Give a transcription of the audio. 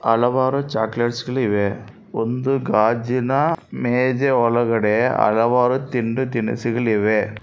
ಹಲವಾರು ಚಾಕಲೇಟ್ಸ್ಗಳಿವೆ ಒಂದು ಗಾಜಿನ ಮೇಜು ಒಳಗಡೆ ಹಲವಾರು ತಿಂಡಿ ತಿನಿಸುಗಳಿವೆ.